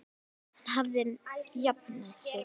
Hann hafði jafnað sig.